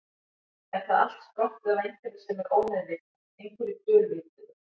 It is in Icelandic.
Er það allt sprottið af einhverju sem er ómeðvitað, einhverju dulvituðu?